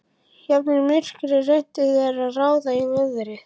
Jafnvel í myrkri reyndu þeir að ráða í veðrið.